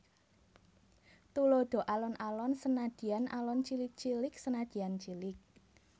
Tuladha Alon alon senadyan alon cilik cilik senadyan cilik